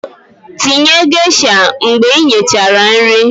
Tinye geisha mgbe nyechara nri